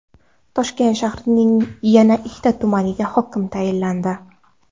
Toshkent shahrining yana ikki tumaniga hokim tayinlandi.